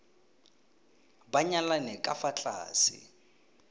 ba nyalane ka fa tlase